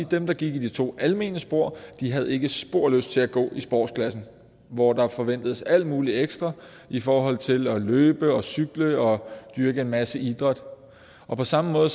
dem der gik i de to almene spor havde ikke spor lyst til at gå i sportsklassen hvor der forventedes alt muligt ekstra i forhold til at løbe og cykle og dyrke en masse idræt på samme måde